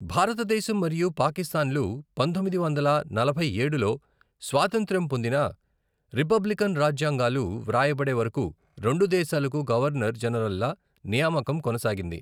భారతదేశం మరియు పాకిస్తాన్లు పంతొమ్మిది వందల నలభై ఏడులో స్వాతంత్ర్యం పొందినా, రిపబ్లికన్ రాజ్యాంగాలు వ్రాయబడే వరకు రెండు దేశాలకు గవర్నర్ జనరల్ల నియామకం కొనసాగింది.